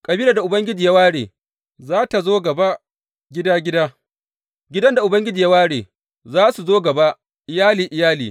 Kabilar da Ubangiji ya ware, za tă zo gaba gida gida; gidan da Ubangiji ya ware, za su zo gaba iyali iyali.